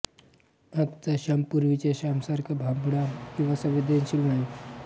आजचा श्याम पूर्वीच्या श्यामसारखा भाबडा किंवा संवेदनशील नाही